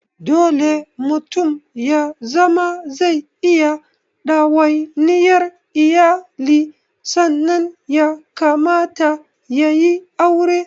Dole mutum ya zama zai iya ɗawaniyar iyali sannan ya kamata yayi aure